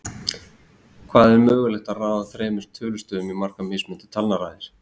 Hvað er mögulegt að raða þremur tölustöfum í margar mismunandi talnaraðir?